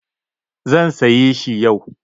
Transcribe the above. Zan sayi shi yau.